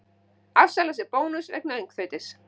Afsalar sér bónus vegna öngþveitis